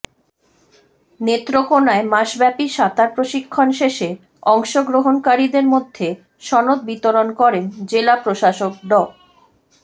নেত্রকোনায় মাসব্যাপী সাঁতার প্রশিক্ষণ শেষে অংশগ্রহণকারীদের মধ্যে সনদ বিতরণ করেন জেলা প্রশাসক ড